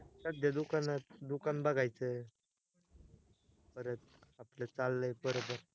सध्या दुकानात दुकान बघायचं, परत आपल चाललंय बर तर